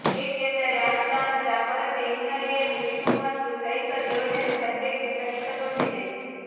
ಏಕೆಂದರೆ ಅನುದಾನದ ಕೊರತೆ ಹಿನ್ನಲೆಯಲ್ಲಿ ಶೂ ಮತ್ತು ಸೈಕಲ್ ಯೋಜನೆ ಸದ್ಯಕ್ಕೆ ಸ್ಥಗಿತಗೊಂಡಿದೆ